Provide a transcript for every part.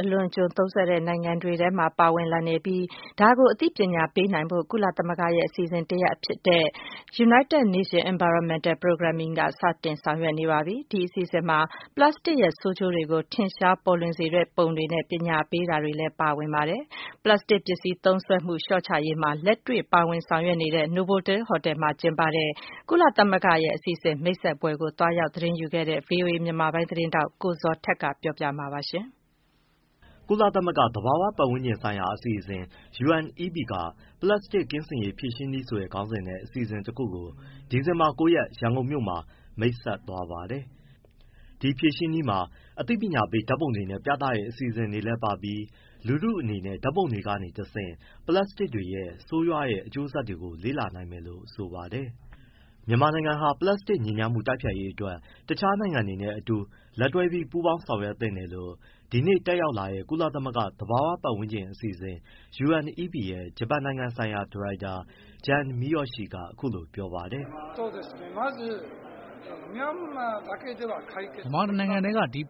အလွန်အကျွံသုံးစွဲတဲ့ နိုင်ငံတွေထဲမှာ တခု အပါအဝင် ဖြစ်လာပြီး ဒါကို အသိပညာပေးနိုင်ဖို့ ကုလသမဂ္ဂရဲ့ အစီအစဉ် တခုဖြစ်တဲ့ United Nations Environmental Programme က စီစဉ်ဆောင်ရွက်နေပြီဖြစ်ပါတယ်။ ဒီအစီအစဉ်မှာ ပလပ်စတစ်ရဲ့ ဆိုးကျိုးတွေကို ထင်ရှား ပေါ်လွင်စေတဲ့ပုံတွေနဲ့ ပညာပေး ပြသမှု တွေလည်း ပါဝင်ပါတယ်။ ပလပ်စတစ် ပစ္စည်း သုံးစွဲမှု လျှော့ ချရေးမှာ လက်တွေ့ ပါဝင် ဆောင်ရွက်နေတဲ့ Novotel ဟိုတယ်မှာ ကျင်းပပြုလုပ်တဲ့ ကုလသမဂ္ဂရဲ့ အစီအစဉ် မိတ်ဆက်ပွဲကို သွားရောက် သတင်းယူခဲ့တဲ့ ဗွီအိုအေမြန်မာပိုင်းသတင်းထောက် ကိုဇော်ထက်က ပြောပြပေးမှာပါ။ ကုလသမဂ္ဂ သဘာဝပတ်ဝန်းကျင်ဆိုင်ရာ အစီအစဉ် UNEP က ပလပ်စတစ်ကင်းစင်ရေး ဖြေရှင်းနည်းဆိုတဲ့ ခေါင်းစဉ်နဲ့ အစီအစဉ်တခုကို ဒီဇင်ဘာ ၉ ရက်က ရန်ကုန်မြို့မှာ မိတ်ဆက်သွားပါတယ်။ ဒီဖြေရှင်းနည်းမှာ အသိပညာပေး ဓာတ်ပုံတွေ ပြသတဲ့ အစီအစဉ်တွေလည်းပါပြီး လူထုအနေနဲ့ ဓာတ်ပုံတွေကနေတဆင့် ပလပ်စတစ်တွေရဲ့ ဆိုးရွားအကျိုးဆက်တွေကို လေ့လာနိုင်မယ်လို့ ဆိုပါတယ်။ မြန်မာနိုင်ငံဟာ ပလပ်စတစ်ညစ်ညမ်းမှု တိုက်ဖျက်ရေးအတွက် တခြားနိုင်ငံတွေနဲ့ အတူ လက်တွဲပြီး ပူးပေါင်းလုပ်ဆောင်သင့်တယ်လို့ ဒီနေ့ တက်ရောက်လာတဲ့ ကုလသမဂ္ဂ သဘာဝပတ်ဝန်းကျင်အစီအစဉ် UNEP ရဲ့ ဂျပန်နိုင်ငံဆိုင်ရာ ဒါရိုက်တာ Jun Miyauchi က အခုလိုပြောပါတယ်။ “မြန်မာတနိုင်ငံတည်းက ဒီ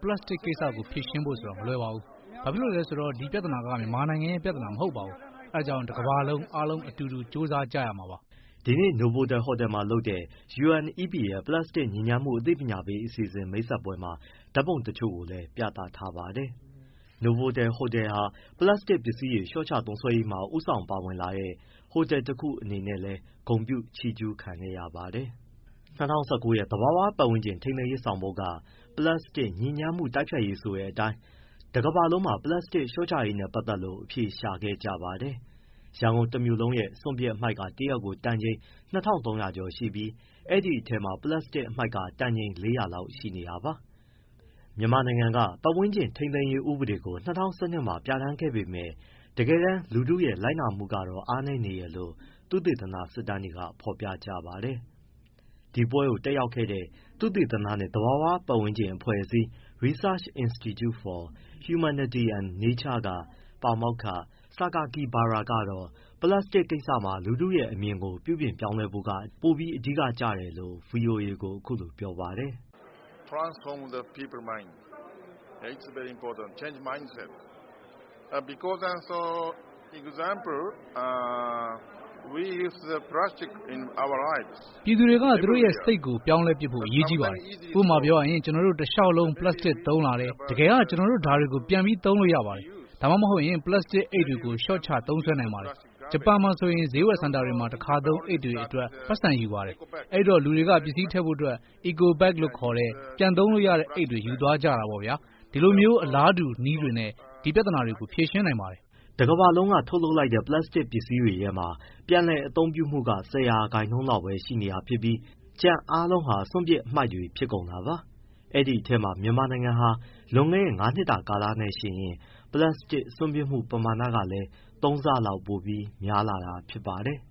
ကိစ္စကို ဖြေရှင်းဖို့ မလွယ်ပါဘူး။ ဘာဖြစ်လို့လဲဆိုတော့ ဒီပြဿနာက မြန်မာနိုင်ငံရဲ့ ပြဿနာ မဟုတ်ပါဘူး။ အဲဒါကြောင့် တကမ္ဘာလုံး အားလုံးတူတူ ကြိုးစားကြရမှာပါ။” ဒီနေ့ နိုဗိုတယ်ဟိုတယ်မှာ လုပ်တဲ့ UNEP ရဲ့ ပလပ်စတစ်ညစ်ညမ်းမှု အသိပညာပေး အစီအစဉ် မိတ်ဆက်ပွဲမှာ ဓာတ်ပုံတချို့ ပြသထားပါတယ်။ Novotel ဟိုတယ်ဟာ ပလပ်စတစ်ပစ္စည်း လျှော့ချသုံးစွဲရေးမှာ ဦးဆောင်ပါဝင်လာတဲ့ ဟိုတယ် တခုဖြစ်တဲ့ အတွက် လည်း ဂုဏ်ပြုချီးကျူးခဲ့ပါတယ်။ ၂၀၁၉ ရဲ့ သဘာဝပတ်ဝန်းကျင် ထိန်းသိမ်းရေး ဆောင်ပုဒ်က ပလပ်စတစ်ညစ်ညမ်းမှု တိုက်ဖျက်ရေးဆိုတဲ့အတိုင်း တကမ္ဘာလုံးမှာ ပလပ်စတစ်လျော့ချရေးနဲ့ ပတ်သက်လို့ အဖြေရှာခဲ့ကြပါတယ်။ ရန်ကုန် တမြို့လုံးရဲ့ စွန့်ပစ်အမှိုက်က တရက်ကို တန်ချိန် ၂၃၀၀ ကျော် ရှိနေပြီး ဒီအထဲမှာ ပလပ်စတစ်အမှိုက်က တန်ချိန် ၄၀၀ လောက်ရှိနေတာပါ။ မြန်မာနိုင်ငံက ပတ်ဝန်းကျင် ထိန်းသိမ်းရေးဥပဒေကို ၂၀၁၂ မှာပြဋ္ဌာန်းခဲ့ပေမဲ့ တကယ်တမ်း လူထုရဲ့ လိုက်နာမှုကတော့ အားနည်းနေတယ်လို့ သုသေသနစစ်တမ်းတွေက ဖော်ပြကြပါတယ်။ ဒီပွဲကိုတက်ရောက်လာတဲ့ သုတေသနနှင့် သဘာဝပတ်ဝန်းကျင် အဖွဲ့အစည်း Research Institute for Huminity and Nature က ပါမောက္ခ Masayuki Sakakibara ကတော့ ပလပ်စတစ်ကိစ္စမှာ လူထုရဲ့ အမြင်ကို ပြုပြင်ပြောင်းလဲဖို့က ပိုပြီး အဓိကကျတယ်လို့ ဗွီအိုအေကို အခုလိုပြောပါတယ်။ “ပြည်သူတွေက သူတို့ရဲ့ စိတ်ကိုပြောင်းလဲပစ်ဖို့ အရေးကြီးပါတယ်။ ဥပမာပြောရရင် ကျနော်တို့ တလျှောက်လုံး ပလပ်စတစ်သုံးလာတယ်၊ ကျနော်တို့ ဒါတွေကို ပြန်လည်အသုံးပြုနိုင်ပါတယ်။ ဒါမှမဟုတ် ပလပ်စတစ်အိတ်တွေကို လျှော့ချသုံးနိုင်ပါတယ်။ ဂျပန်မှာဆိုရင် ဈေးဝယ်စင်တာတွေက တခါသုံး အိတ်တွေအတွက် ပိုက်ဆံယူပါတယ်။ အဲဒီတော့ လူတွေက ပစ္စည်းထည့်ဖို့ Eco Beg လို့ခေါ်တဲ့ အိတ်တွေယူသွားကြပါတယ်။ ဒီလိုမျိုး အလားတူနည်းတွေနဲ့ ဒီပြဿနာကို ဖြေရှင်းနိုင်ပါတယ်။” ကမ္ဘာတဝန်းလုံးက ထုတ်လုပ်လိုက်တဲ့ ပလပ်စတစ်ပစ္စည်းတွေထဲမှာ ပြန်လည်အသုံးပြုမှုက ၁၀ ရာခိုင်နှုန်းလောက်ပဲ ရှိနေတာ ဖြစ်ပြီး ကျန်အားလုံးဟာ စွန့်ပစ် အမှိုက်တွေဖြစ်ကုန်တာပါ။ ဒီအထဲမှာ မြန်မာနိုင်ငံက လွန်ခဲ့တဲ့ ငါးနှစ်တာကာလနဲ့ နှိုင်းယှဉ်ရင် ပလပ်စတစ်စွန့်ပစ်မှု ပမာဏကလည်း သုံးဆလောက်ပိုများလာတာလည်း ဖြစ်ပါတယ်။